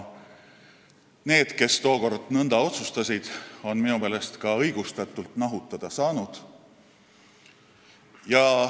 Need, kes tookord nõnda otsustasid, on minu meelest ka õigustatult nahutada saanud.